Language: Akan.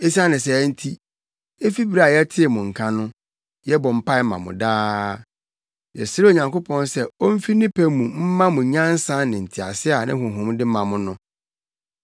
Esiane saa nti, efi bere a yɛtee mo nka no, yɛbɔ mpae ma mo daa. Yɛsrɛɛ Onyankopɔn sɛ omfi ne pɛ mu mma mo nyansa ne ntease a ne Honhom de ma no.